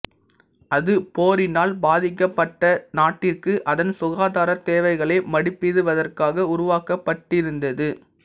அது போரினால் பாதிக்கப்பட்ட நாட்டிற்கு அதன் சுகாதார தேவைகளை மதிப்பிடுவதற்காக உருவாக்கப்படிருந்தது